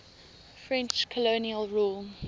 french colonial rule